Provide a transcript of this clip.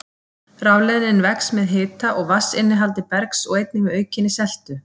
Rafleiðnin vex með hita og vatnsinnihaldi bergs og einnig með aukinni seltu.